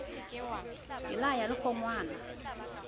ke la ya le kgonwana